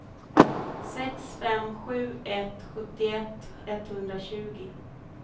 sex fem sju ett sjuttioett etthundratjugo